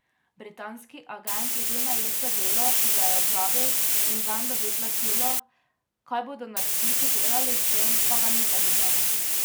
Britanski agent je bil najet za delo, ki ga je opravil in zanj dobil plačilo, kaj bodo naročniki delali s tem, pa ga ni zanimalo.